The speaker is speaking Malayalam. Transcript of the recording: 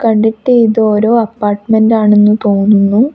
കണ്ടിട്ട് ഇത് ഓരോ അപ്പാർട്ട്മെന്റ് ആണെന്ന് തോന്നുന്നു.